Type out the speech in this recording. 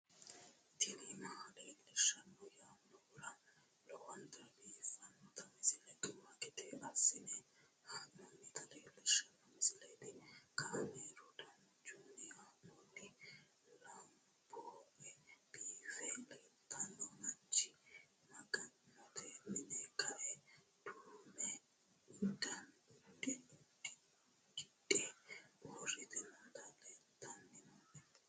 tini maa leelishshanno yaannohura lowonta biiffanota misile xuma gede assine haa'noonnita leellishshanno misileeti kaameru danchunni haa'noonni lamboe biiffe leeeltanno mancho maga'note mine kae duume uddidhe uurrite nooti leltanni noooe